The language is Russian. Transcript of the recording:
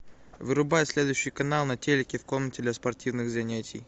вырубай следующий канал на телике в комнате для спортивных занятий